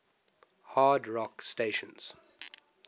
hard rock stations